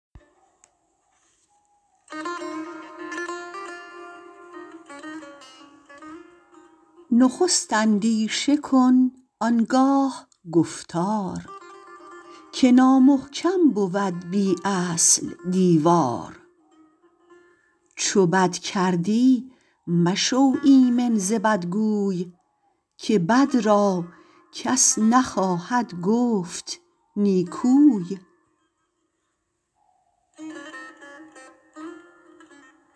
نخست اندیشه کن آنگاه گفتار که نامحکم بود بی اصل دیوار چو بد کردی مشو ایمن ز بدگوی که بد را کس نخواهد گفت نیکوی